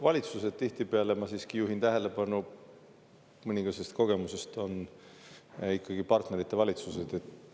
Valitsused tihtipeale – ma siiski juhin tähelepanu mõningasest kogemusest – on ikkagi partnerite valitsused.